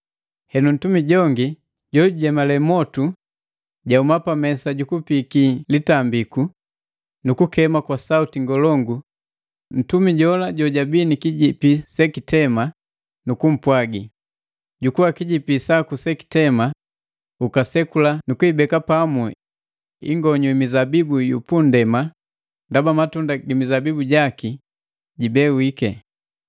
Henu ntumi jongi jojujemale mwotu, jahuma pa mesa jukupiiki litambiku nukukema kwa sauti ngolongu ntumi jola jojabii ni kijipi jejitema nukumpwagi, “Jukua kijipi saku jejitema ukasekula nukuibeka pamu ingonyu i mizabibu yu pundema ndaba matunda gi mizabibu jaki jibewiki.”